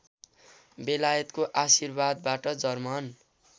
बेलायतको आशीर्वादबाट जर्मन